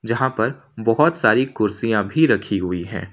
यहां पर बहोत सारी कुर्सियां भी रखी हुई हैं।